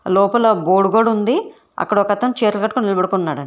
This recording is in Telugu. లోపల గోడ్ గోడుంది అక్కడ ఒక అతను చేతుల్ కట్టుకొని నిలబడుకొని వున్నాడండి.